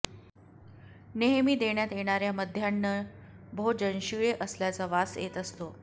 नेहमी देण्यात येणाऱ्या मध्यान्ह भोजन शिळे असल्याचा वास येत असतो